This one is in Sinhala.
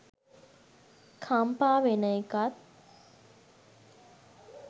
කම්පා වෙන එකත්